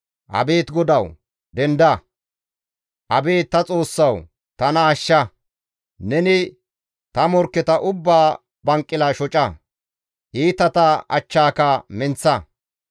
Abeet GODAWU! Denda! Abeet ta Xoossawu! Tana ashsha! Neni ta morkketa ubbaa banqila shoca; iitata achchaaka menththa.